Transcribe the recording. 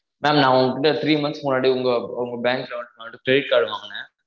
maam நா உங்ககிட்ட three months முன்னாடி உங்க உங்க bank ல வந்துட்டு credit card வாங்குனேன்